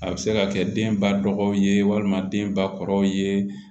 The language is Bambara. A bɛ se ka kɛ den ba dɔgɔw ye walima den ba kɔrɔw ye